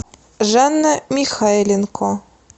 жанна михайленко